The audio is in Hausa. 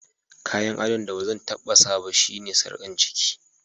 Kayan addon da bazan tabba sa ba shine sarkar ciki.